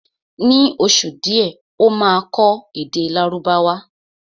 Ní oṣù díẹ̀ Ó máa kọ́ èdè Lárúbáwá